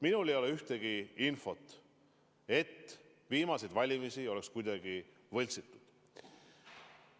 Minul ei ole vähimatki infot, et viimaseid valimisi oleks kuidagi võltsitud.